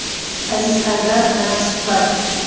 Aziz Haydarov bilan suhbat.